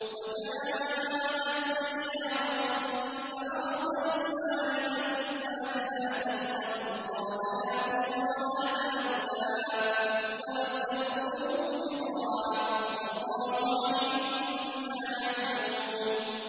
وَجَاءَتْ سَيَّارَةٌ فَأَرْسَلُوا وَارِدَهُمْ فَأَدْلَىٰ دَلْوَهُ ۖ قَالَ يَا بُشْرَىٰ هَٰذَا غُلَامٌ ۚ وَأَسَرُّوهُ بِضَاعَةً ۚ وَاللَّهُ عَلِيمٌ بِمَا يَعْمَلُونَ